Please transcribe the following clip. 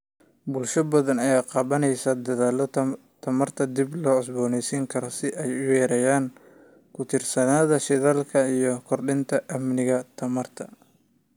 Bulsho badan ayaa qaadanaya dadaallada tamarta dib loo cusboonaysiin karo si ay u yareeyaan ku tiirsanaanta shidaalka iyo kordhinta amniga tamarta.